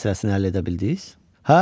Viza məsələsini həll edə bildiz?